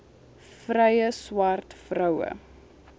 vrye swart vroue